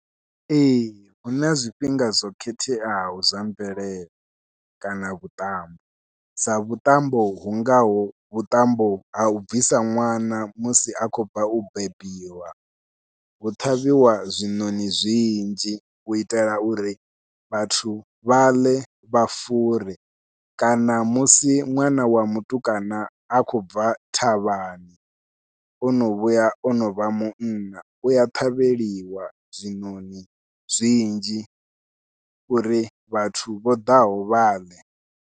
Ee huna zwifhinga zwo khetheaho zwa mvelele kana vhuṱambo, sa vhuṱambo hu ngaho vhuṱambo hau bvisa ṅwana musi a khou bva u bebiwa hu ṱhavhiwa zwiṋoṋi zwinzhi u itela uri vhathu vhaḽe vha fure, kana musi ṅwana wa mutukana a khou bva thavhani ono vhuya ono vha munna, uya ṱhavheliwa zwiṋoṋi zwinzhi uri vhathu vho ḓaho vhaḽe.